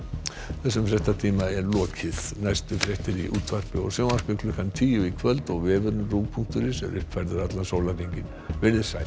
þessum fréttatíma er lokið næstu fréttir í útvarpi og sjónvarpi klukkan tíu í kvöld og vefurinn punktur is er uppfærður allan sólarhringinn verið þið sæl